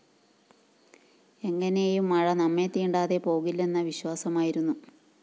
എങ്ങനേയും മഴ നമ്മെതീണ്ടാതെ പോകില്ലെന്ന വിശ്വാസമായിരുന്നു